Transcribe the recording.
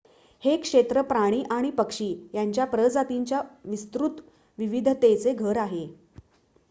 हे क्षेत्र प्राणी आणि पक्षी यांच्या प्रजातींच्या विस्तृत विविधतेचे घर आहे